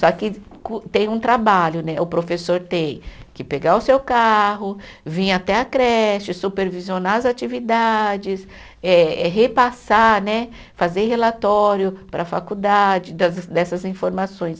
Só que com, tem um trabalho né, o professor tem que pegar o seu carro, vir até a creche, supervisionar as atividades, eh repassar né, fazer relatório para a faculdade das dessas informações.